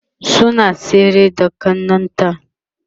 suna tsere da ƙannan ta